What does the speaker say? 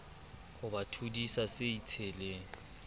ho ba thodisa se itsheleng